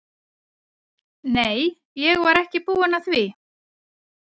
Nei, ég var ekki búin að því.